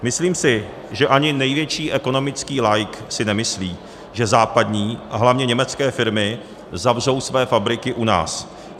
Myslím si, že ani největší ekonomický laik si nemyslí, že západní - a hlavně německé - firmy zavřou své fabriky u nás.